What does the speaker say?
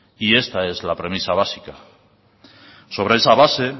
y esta es la premisa básica sobre esa base